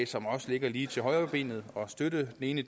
som også ligger lige til højrebenet at støtte det ene